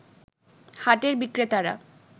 হাটের বিক্রেতারা